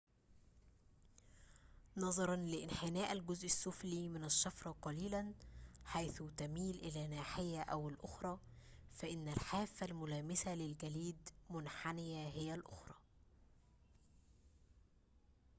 نظراً لانحناء الجزء السفلي من الشفرة قليلاً حيث تميل إلى ناحية أو الأخرى فإن الحافة الملامسة للجليد منحنية هي الأخرى